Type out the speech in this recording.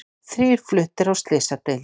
Þrír fluttir á slysadeild